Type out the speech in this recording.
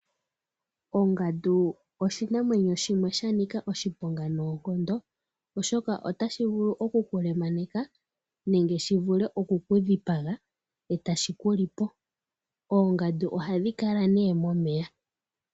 Ongadu oshinamwenyo shimwe sha nika oshiponga noonkondo oshoka otashi vulu oku ku lemaneka nenge shi vule oku ku dhipaga etashi ku lipo . Oongadu ohadhi kala ne momeya.